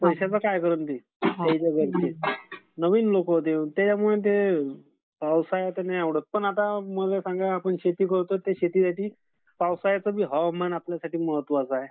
पैश्याचं काय करणार ते? नवीन लोक होते त्याच्यामुळे ते पावसाळ्यात नाही आवडत. पण मला सांगा, आता आपण शेती करतो ते शेतीसाठी पावसाळ्याचं बी हवामान आपल्यासाठी महत्वाचं आहे.